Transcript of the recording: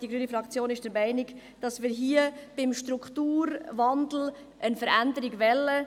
Die grüne Fraktion ist der Meinung, dass wir hier beim Strukturwandel eine Veränderung wollen.